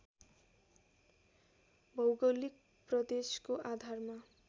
भौगोलिक प्रदेशको आधारमा